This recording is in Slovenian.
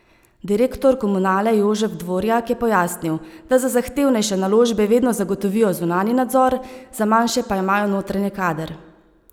Direktor Komunale Jožef Dvorjak je pojasnil, da za zahtevnejše naložbe vedno zagotovijo zunanji nadzor, za manjše pa imajo notranji kader.